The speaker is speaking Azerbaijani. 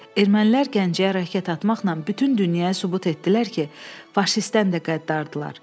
Ermənilər Gəncəyə raket atmaqla bütün dünyaya sübut etdilər ki, faşistdən də qəddardırlar.